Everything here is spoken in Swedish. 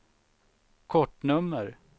kortnummer